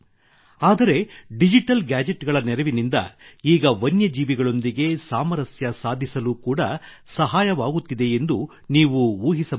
ಆದರೆ digital gadget ಗಳ ನೆರವಿನಿಂದ ಈಗ ವನ್ಯ ಜೀವಿಗಳೊಂದಿಗೆ ಸಾಮರಸ್ಯ ಸಾಧಿಸಲು ಕೂಡಾ ಸಹಾಯವಾಗುತ್ತಿದೆಯೆಂದು ನೀವು ಊಹಿಸಬಹುದೇ